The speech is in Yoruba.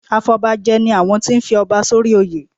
Afọbajẹ ni àwọn tí ń fi ọba sórí oyè.